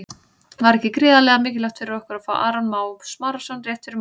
Var ekki gríðarlega mikilvægt fyrir ykkur að fá Aron Má Smárason rétt fyrir mót?